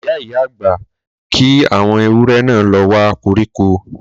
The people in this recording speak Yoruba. Ìyá-ìyá gbà kí àwọn ewúrẹ náà lọ wa koríko